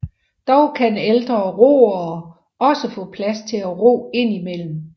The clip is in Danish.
Dog kan ældre roere også få plads til at ro indimellem